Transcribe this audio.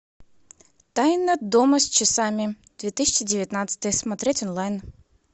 тайна дома с часами две тысячи девятнадцатый смотреть онлайн